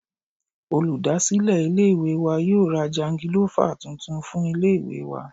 Olúdásílè ilé ìwé wa yóò ra jangilọ́fà tuntun fún ilé ìwé wa.